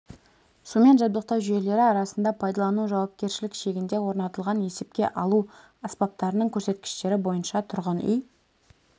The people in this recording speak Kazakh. сумен жабдықтау жүйелері арасында пайдалану жауапкершілік шегінде орнатылған есепке алу аспаптарының көрсеткіштері бойынша тұрғын үй